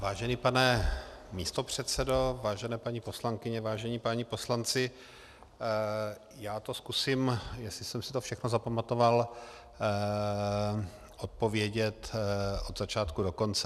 Vážený pane místopředsedo, vážené paní poslankyně, vážení páni poslanci, já to zkusím, jestli jsem si to všechno zapamatoval, odpovědět od začátku do konce.